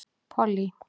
Pollý